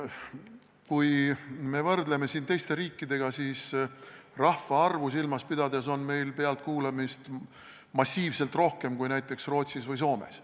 Kui me võrdleme teiste riikidega, siis rahvaarvu silmas pidades võib öelda, et meil on pealtkuulamist massiivselt rohkem kui näiteks Rootsis ja Soomes.